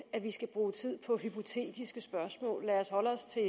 at vi skal bruge tid på hypotetiske spørgsmål lad os holde os til